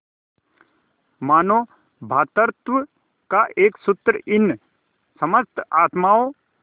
मानों भ्रातृत्व का एक सूत्र इन समस्त आत्माओं